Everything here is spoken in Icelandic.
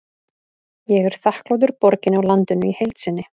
Ég er þakklátur borginni og landinu í heild sinni.